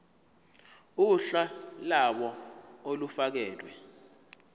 uhla lawo olufakelwe